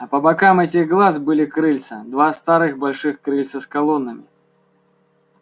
а по бокам этих глаз были крыльца два старых больших крыльца с колоннами